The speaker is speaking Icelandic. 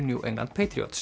New England